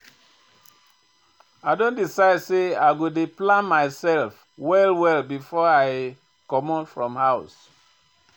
I don decide sey I go dey plan mysef well-well before I comot from house.